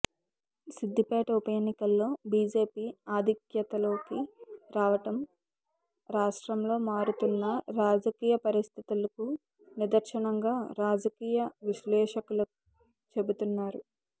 సిద్దిపేట ఉప ఎన్నికల్లో బీజేపీ ఆధిక్యతలోకి రావడం రాష్ట్రంలో మారుతున్న రాజకీయ పరిస్థితులకు నిదర్శనంగా రాజకీయ విశ్లేషకులు చెబుతున్నారు